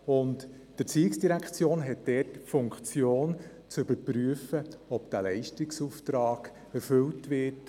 Die ERZ hat dort die Funktion, zu überprüfen, ob dieser Leistungsauftrag erfüllt wird.